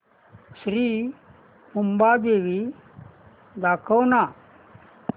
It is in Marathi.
श्री मुंबादेवी दाखव ना